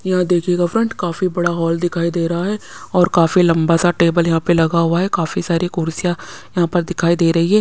यहाँ देखिएगा फ्रेंड काफी बड़ा हॉल दिखाई दे रहा है और काफी लंबा सा टेबल यहाँ पे लगा हुआ है काफी सारी कुर्सियाँ यहाँ पर दिखाई दे रही है।